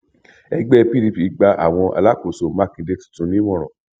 ẹgbẹ pdp gba àwọn alákòóso mákindé tuntun nímọràn